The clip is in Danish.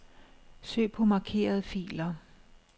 Søg på markerede filer.